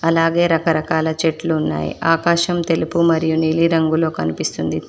అలాగే రకరకాల చెట్లు ఉన్నాయి ఆకాశం తెలుపు మరియు నీలిరంగులో కనిపిస్తుంది.